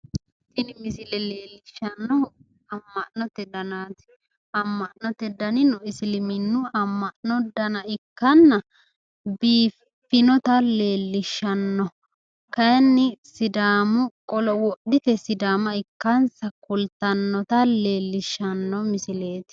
Tini misile leellishshaahu amma'note danaati amma'note danino isiliminnu amma'no dana ikkanna biiffinota leellishshanno kayiinni sidaamu qolo wodhite sidaama ikkansa kultannota kultannota leellishshanno misileeti.